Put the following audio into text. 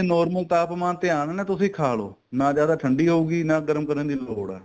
normal ਤਾਪਮਾਨ ਤੇ ਆਣ ਤੇ ਤੁਸੀਂ ਖਾ ਲੋ ਨਾ ਜਿਆਦਾ ਠੰਡੀ ਹੋਊਗੀ ਨਾ ਗਰਮ ਕਰਨ ਦੀ ਲੋੜ ਏ